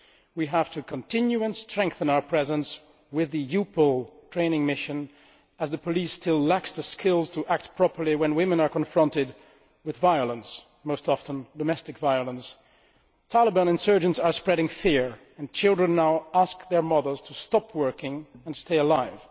We have to continue and strengthen our presence with the EUPOL training mission, as the police still lack the skills to act properly when women are confronted with violence, most often domestic violence. Taliban insurgents are spreading fear, and children are now asking their mothers to stop working in order to stay alive.